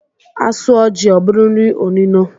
A sụọ jị, ọ bụrụ nri onino